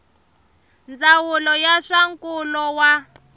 ndzawulo ya swa nkulo wa